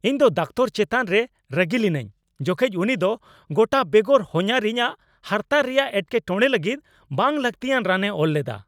ᱤᱧ ᱫᱚ ᱫᱟᱠᱚᱛᱟᱨ ᱪᱮᱛᱟᱱ ᱨᱮ ᱨᱟᱹᱜᱤ ᱞᱤᱱᱟᱹᱧ, ᱡᱚᱠᱷᱮᱡ ᱩᱱᱤ ᱫᱚ ᱜᱚᱴᱟ ᱵᱮᱜᱚᱨ ᱦᱟᱱᱦᱟᱨᱤᱧ ᱟᱜ ᱦᱟᱨᱛᱟ ᱨᱮᱭᱟᱜ ᱮᱴᱠᱮᱴᱚᱬᱮ ᱞᱟᱹᱜᱤᱫ ᱵᱟᱝ ᱞᱟᱹᱠᱛᱤᱭᱟᱱ ᱨᱟᱱᱮ ᱚᱞ ᱞᱮᱫᱟ ᱾